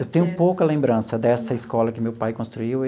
Eu tenho pouca lembrança dessa escola que meu pai construiu.